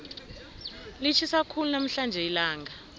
litjhisa khulu namhlanje ilanga